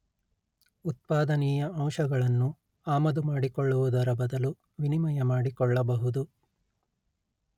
ಉತ್ಪಾದನೀಯ ಅಂಶಗಳನ್ನು ಆಮದುಮಾಡಿಕೊಳ್ಳುವುದರ ಬದಲು ವಿನಿಮಯ ಮಾಡಿಕೊಳ್ಳಬಹುದು